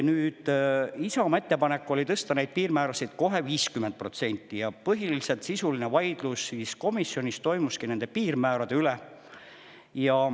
Nüüd, Isamaa ettepanek oli tõsta neid piirmäärasid kohe 50% ja sisuline vaidlus komisjonis toimuski põhiliselt nende piirmäärade üle.